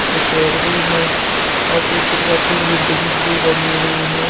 पीछे पेड़ भी है और पीछे की तरफ कुछ बिल्डिंग्स भी बनी हुई हैं ।